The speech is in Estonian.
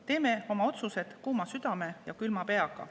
Teeme oma otsused kuuma südame ja külma peaga.